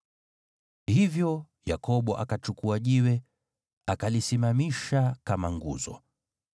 Hivyo Yakobo akachukua jiwe, akalisimamisha kama nguzo.